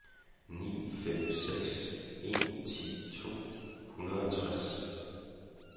ni fem seks en ti to hundrede og tres